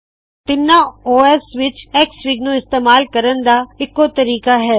ਤਿੱਨਾਂ OS ਵਿੱਚ XFIG ਨੂ ਇਸਤੇਮਾਲ ਕਰਣ ਦਾ ਇੱਕੋ ਤਰੀਕਾ ਹੈ